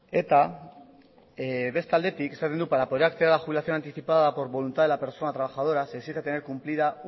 eta beste aldetik esaten du para poder acceder a la jubilación anticipada por voluntad de la persona trabajadora se exige tener cumplida